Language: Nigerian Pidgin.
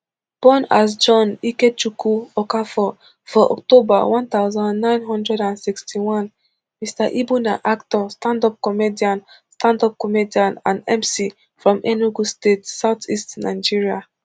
born as john ikechukwu okafor for october one thousand, nine hundred and sixty-one mr ibu na actor standup comedian standup comedian and mc from enugu state southeast nigeria